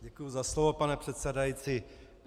Děkuji za slovo, pane předsedající.